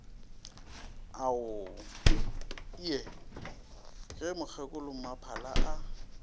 ao ie ge mokgekolommaphala a